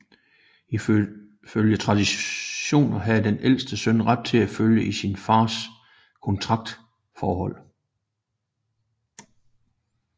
Ifølge traditionen havde den ældste søn ret til at følge sin far i kontraktforholdet